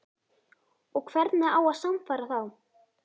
Og hvernig á að sannfæra þá?